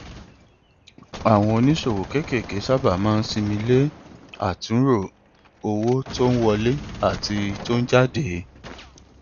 àwọn oníṣòwò kéékèèké sábà máa sinmi le àtúnrò owó tó ń wọlé àti tó ń jáde